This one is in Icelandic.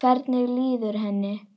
Hvernig líður henni?